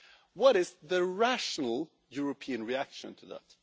What is the rational European reaction to that?